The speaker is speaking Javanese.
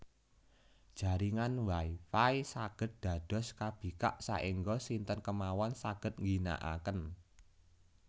Jaringan Wi Fi saged dados kabikak saengga sinten kemawon saged ngginakaken